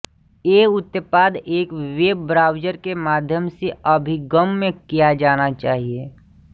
ये उत्पाद एक वेब ब्राउज़र के माध्यम से अभिगम्य किया जाना चाहिए